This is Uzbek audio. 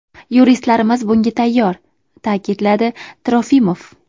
Yuristlarimiz bunga tayyor”, ta’kidladi Trofimov.